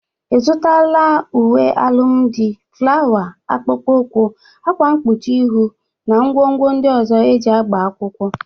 Ịzụtala uwe alụmdị, flawa, akpụkpọ ụkwụ,, akwa mkpuchi ịhụ na ngwongwo ndị ọzọ e ji agba akwụkwọ?